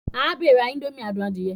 Abe n rá indomie adùn adie.